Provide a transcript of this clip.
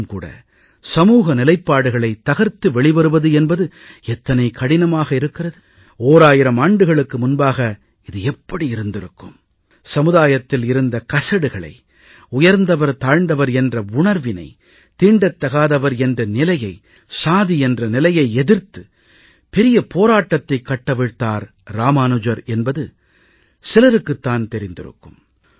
இன்றும் கூட சமூக நிலைப்பாடுகளைத் தகர்த்து வெளிவருவது என்பது எத்தனை கடினமாக இருக்கிறது ஓராயிரம் ஆண்டுகளுக்கு முன்பாக இது எப்படி இருந்திருக்கும் சமுதாயத்தில் இருந்த கசடுகளை உயர்ந்தவர்தாழ்ந்தவர் என்ற உணர்வினை தீண்டத்தகாதவர் என்ற நிலையை சாதி என்ற நிலையை எதிர்த்து பெரிய போராட்டத்தைக் கட்டவிழ்த்தார் இராமானுஜர் என்பது சிலருக்குத் தான் தெரிந்திருக்கும்